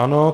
Ano.